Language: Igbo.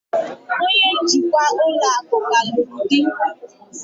Onye njikwa ụlọ akụ ka lụrụ di